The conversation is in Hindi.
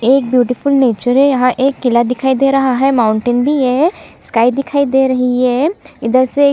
एक ब्यूटीफुल नेचर है यहाँ एक किला दिखाई दे रहा है माउंटेन भी है स्काई दिखाई दे रही है इधर से--